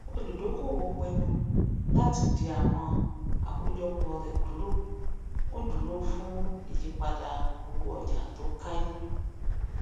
olùdókòwò pinnu láti dì àwọn akojọpò rẹ dúró ń dúró fún ìyípadà owó ọjà tó kẹyìn